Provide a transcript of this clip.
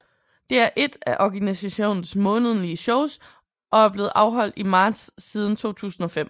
Det er ét af organisationens månedlige shows og er blevet afholdt i marts siden 2005